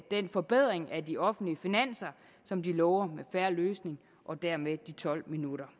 den forbedring af de offentlige finanser som de lover med fair løsning og dermed de tolv minutter